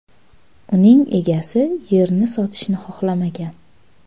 Uning egasi yerni sotishni xohlamagan .